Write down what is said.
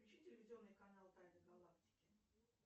включи телевизионный канал тайны галактики